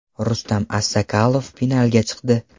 Rustam Assakalov finalga chiqdi!.